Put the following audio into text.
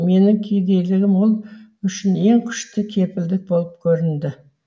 менің кедейлігім ол үшін ең күшті кепілдік болып көрінді